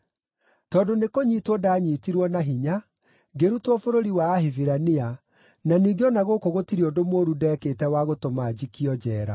Tondũ nĩkũnyiitwo ndaanyiitirwo na hinya, ngĩrutwo bũrũri wa Ahibirania, na ningĩ o na gũkũ gũtirĩ ũndũ mũũru ndeekĩte wa gũtũma njikio njeera.”